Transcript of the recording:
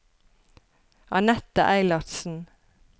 Anette Eilertsen